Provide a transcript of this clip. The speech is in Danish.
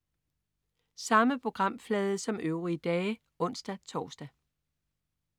Samme programflade som øvrige dage (ons-tors)